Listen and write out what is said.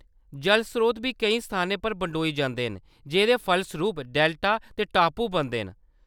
जलस्रोत बी केईं स्थानें पर बंडोई होई जंदे न जेह्‌दे फलसरूप डेल्टा ते टापू बनदे न।